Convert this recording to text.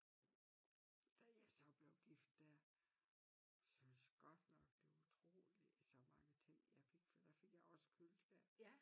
Da jeg så blev gift der syntes godt nok det var utroligt så mange ting jeg fik for der fik jeg også køleskab